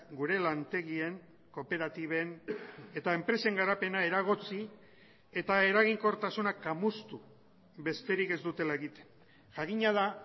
gure lantegien kooperatiben eta enpresen garapena eragotzi eta eraginkortasunak kamustu besterik ez dutela egiten jakina da